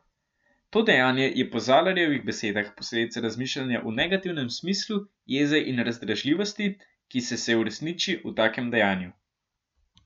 To dejanje je po Zalarjevih besedah posledica razmišljanja v negativnem smislu, jeze in razdražljivosti, ki se se uresniči v takem dejanju.